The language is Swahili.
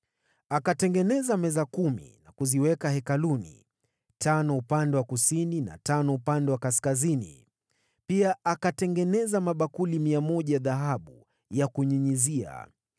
Akatengeneza meza kumi na kuziweka hekaluni, tano upande wa kusini na tano upande wa kaskazini. Pia akatengeneza mabakuli 100 ya dhahabu ya kunyunyizia.